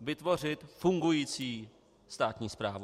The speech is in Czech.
vytvořit fungující státní správu.